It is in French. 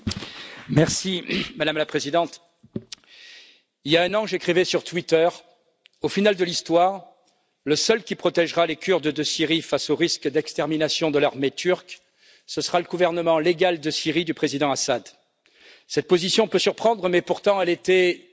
Madame la Présidente, il y a un an, j'écrivais sur Twitter Et au final de l'histoire, le seul qui protégera les Kurdes de Syrie face au risque d'extermination par l'armée turque, ce sera le gouvernement légal de Syrie du président Assad. Cette position peut surprendre, mais pourtant elle était tellement prévisible!